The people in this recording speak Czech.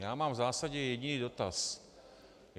Já mám v zásadě jediný dotaz.